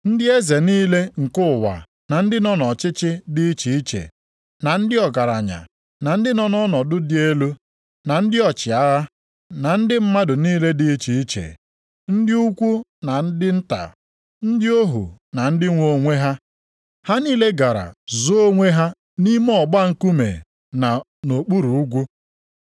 Ndị eze niile nke ụwa na ndị nọ nʼọchịchị dị iche iche, na ndị ọgaranya, na ndị nọ nʼọnọdụ dị elu, na ndị ọchịagha, na ndị mmadụ niile dị iche iche, ndị ukwu ma ndị nta, ndị ohu na ndị nwe onwe ha, ha niile gara zoo onwe ha nʼime ọgba nkume na nʼokpuru ugwu,